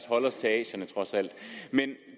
holde os til asierne men